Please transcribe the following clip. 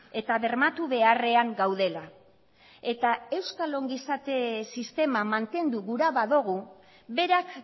eta bermatu beharrean gaudela eta euskal ongizate sistema mantendu gura badugu berak